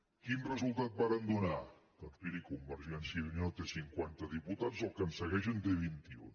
quin resultat varen donar doncs miri convergència i unió té cinquanta diputats el que ens segueix en té vint i un